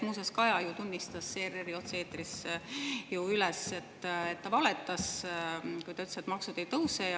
Muuseas, Kaja ju tunnistas ERR‑i otse-eetris üles, et ta valetas, kui ta ütles, et maksud ei tõuse.